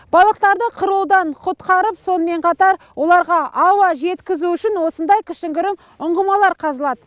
балықтарды қырылудан құтқарып сонымен қатар оларға ауа жеткізу үшін осындай кішігірім ұңғымалар қазылады